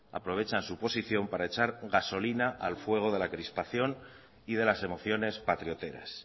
aprovechan su posición para echar gasolina al fuego de la crispación y de las emociones patrioteras